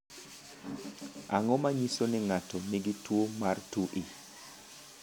Ang’o ma nyiso ni ng’ato nigi tuwo mar 2E?